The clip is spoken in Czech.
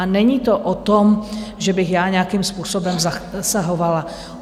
A není to o tom, že bych já nějakým způsobem zasahovala.